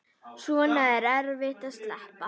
Svona er erfitt að sleppa.